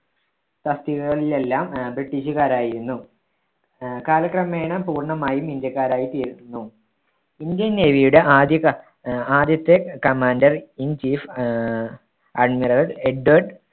തസ്തികകളിലെല്ലാ ഏർ british കാരായിരുന്നു. ഏർ കാലക്രമേണ പൂർണമായും ഇന്ത്യക്കാരായി തീർന്നു. ഇന്ത്യൻ നേവിയുടെ ആദ്യ കാ~ ഏർ ആദ്യത്തെ commander in chief ഏർ admiral എഡ്വാർഡ്